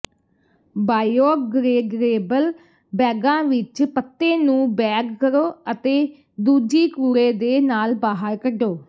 ਬਾਇਓਗ੍ਰੇਗਰੇਬਲ ਬੈਗਾਂ ਵਿਚ ਪੱਤੇ ਨੂੰ ਬੈਗ ਕਰੋ ਅਤੇ ਦੂਜੀ ਕੂੜੇ ਦੇ ਨਾਲ ਬਾਹਰ ਕੱਢੋ